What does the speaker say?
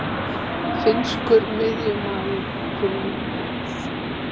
Finnskur miðjumaður til Víkings